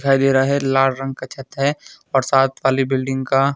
दिखाई दे रहा है लाल रंग का छत है और साथ वाली बिल्डिंग का--